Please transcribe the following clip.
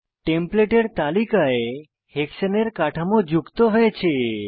template এর তালিকায় হেক্সানে এর কাঠামো যুক্ত হয়েছে